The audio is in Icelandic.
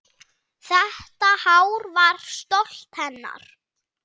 Þetta hár var stolt hennar.